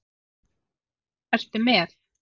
Ertu með?